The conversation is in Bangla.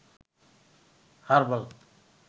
হারবাল